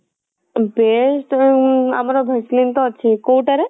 best ଉଁ ଆମର vaseline ତ ଅଛି କଉଟା ରେ?